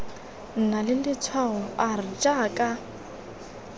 nna le letshwao r jaaka